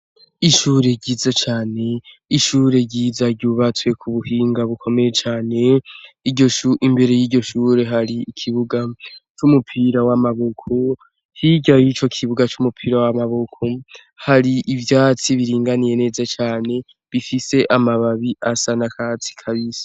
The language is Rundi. Ishure ryiza cane ishure ryiza ryubatswe ku buhinga bukomeye cane imbere y'iryo shure hari ikibuga c'umupira w'amaboko hirya y'ico kibuga c'umupira w'amaboko hari ivyatsi biringaniye neza cane bifise amababi asa n'akatsi kabisi.